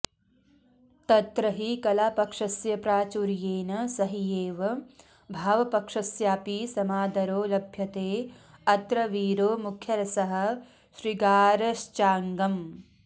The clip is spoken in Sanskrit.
तत्र हि कलापक्षस्य प्राचुर्येण सहैव भावपक्षस्यापि समादरो लभ्यते अत्र वीरो मुख्यरसः शृगारश्चाङ्गम्